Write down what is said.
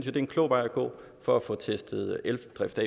er en klog vej at gå for at få testet eldrift